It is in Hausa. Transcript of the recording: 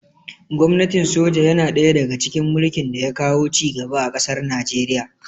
Gwamnatin soja yana ɗaya daga cikin mulkin da ya kawo ci gaba a ƙasar Nijeriya